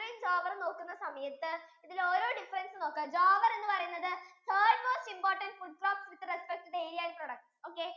നോക്കുന്ന സമയത്തു ഇതിലെ ഓരോ difference ഉം നോക്കുവാ jowar എന്ന് പറയുന്നത് third most imprtant food crop with respective area okay